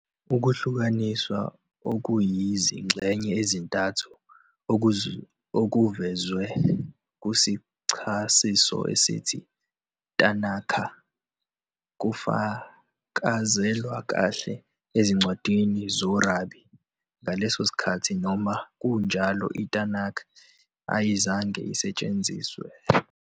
Ukuhlukaniswa okuyizingxenye ezintathu okuvezwe "kusichasiso" esithi Tanakh kufakazelwa kahle ezincwadini zorabi. Ngaleso sikhathi, noma kunjalo, "iTanakh" ayizange isetshenziswe.